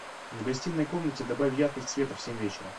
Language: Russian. в гостиной комнате добавь яркость света в семь вечера